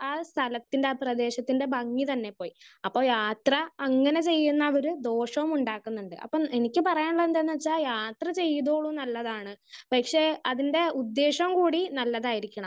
Speaker 1 ആ സ്ഥലത്തിൻ്റെ ആ പ്രവേശത്തിൻ്റെ ഭംഗി തന്നെ പോയി. അപ്പൊ യാത്ര അങ്ങനെ ചെയ്യുന്നവര് ദോഷോം ഉണ്ടാക്കുന്നുണ്ട്. അപ്പം എനിക്ക് പറയാനുള്ളത് എന്തെന്ന് വെച്ചാൽ യാത്ര ചെയ്‌തോ നല്ലതാണ് പക്ഷെ അതിൻ്റെ ഉദ്ദേശവും കൂടി നല്ലതായിരിക്കണം.